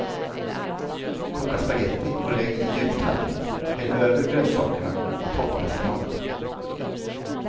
Koka spagetti och lägg i djup tallrik, häll över grönsakerna och toppa med spenat.